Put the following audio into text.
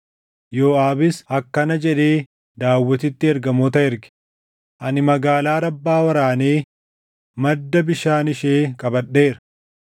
Yooʼaabis akkana jedhee Daawititti ergamoota erge; “Ani magaalaa Rabbaa waraanee madda bishaan ishee qabadheera.